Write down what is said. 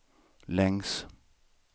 längs